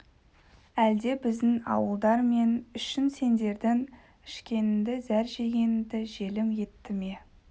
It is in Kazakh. әлде біздің ауылдар мен үшін сендердің ішкенінді зәр жегенінді желім етті ме